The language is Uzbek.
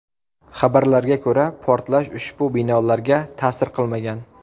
Xabarlarga ko‘ra, portlash ushbu binolarga ta’sir qilmagan.